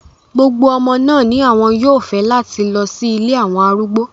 Gbogbo omo naa ni awon yoo fẹ lati lọ si ile awọn arugbo